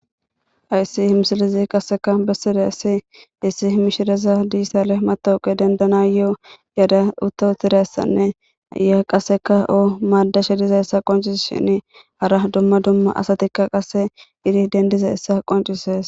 Ayssi he misilekka iza qassikka bessida assi issi mishire dijjitale matawuqe dendanayo yaadaa utta utidayssanne naaya qassikka o maadashe diz iza qonccisesinne hara dumma dumma asatikka qassi yidi deniddiza assa qoncises.